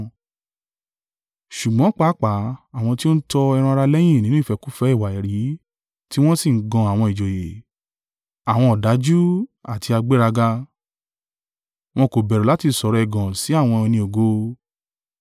Ṣùgbọ́n pàápàá àwọn tí ó ń tọ ẹran-ara lẹ́yìn nínú ìfẹ́kúfẹ̀ẹ́ ìwà èérí, tí wọ́n sì ń gan àwọn ìjòyè. Àwọn ọ̀dájú àti agbéraga, wọn kò bẹ̀rù láti sọ̀rọ̀ ẹ̀gàn sí àwọn ẹni ògo.